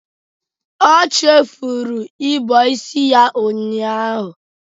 O chefuru ịbọ isi ya ụnyaahụ.